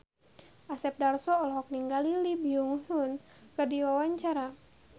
Asep Darso olohok ningali Lee Byung Hun keur diwawancara